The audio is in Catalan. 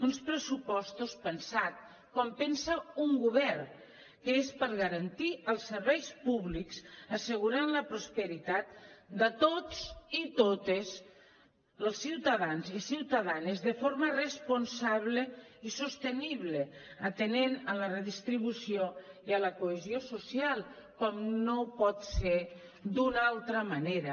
uns pressupostos pensats com pensa un govern que és per garantir els serveis públics assegurant la prosperitat de tots i totes dels ciutadans i ciutadanes de forma responsable i sostenible atenent a la redistribució i a la cohesió social com no pot ser d’una altra manera